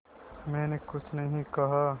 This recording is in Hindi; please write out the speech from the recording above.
मैंने कुछ नहीं कहा